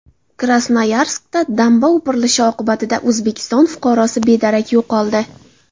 Krasnoyarskda damba o‘pirilishi oqibatida O‘zbekiston fuqarosi bedarak yo‘qoldi.